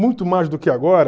Muito mais do que agora,